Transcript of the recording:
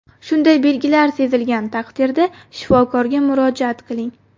Shunday belgilar sezilgan taqdirda, shifokorga murojaat qiling.